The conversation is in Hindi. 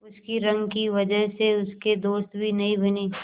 उसकी रंग की वजह से उसके दोस्त भी नहीं बने